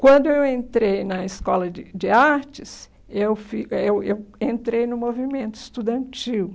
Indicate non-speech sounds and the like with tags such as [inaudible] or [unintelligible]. Quando eu entrei na escola de de artes, eu [unintelligible] eh eu eu entrei no movimento estudantil.